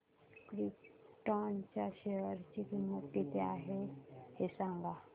krypton च्या share ची किंमत किती आहे हे सांगा